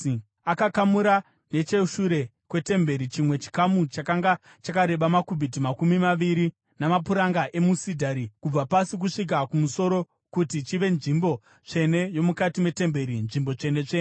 Akakamura necheshure kwetemberi chimwe chikamu chakanga chakareba makubhiti makumi maviri , namapuranga emusidhari kubva pasi kusvika kumusoro kuti chive nzvimbo tsvene yomukati metemberi, Nzvimbo Tsvene-tsvene.